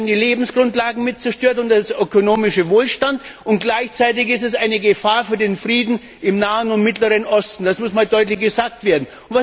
Da werden die Lebensgrundlagen und der ökonomische Wohlstand zerstört. Gleichzeitig ist sie eine Gefahr für den Frieden im Nahen und Mittleren Osten. Das muss einmal deutlich gesagt werden.